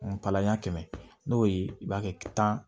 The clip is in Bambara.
palan ɲɛ kɛmɛ n'o ye i b'a kɛ tan